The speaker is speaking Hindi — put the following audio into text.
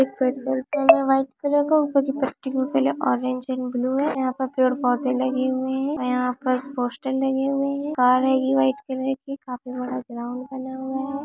एक पेट्रोल पंप है व्हाइट कलर का ऊपर की पट्टी का कलर ऑरेंज एंड ब्लू है यहाँ पर पेड़-पौधे लगे हुए है यहाँ पर पोस्टर लगे हुए है कार है गी व्हाइट कलर की काफी बड़ा ग्राउंड डला हुआ है।